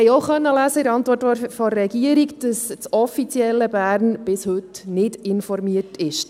Wir konnten in der Antwort der Regierung auch lesen, dass das offizielle Bern bis heute nicht informiert ist.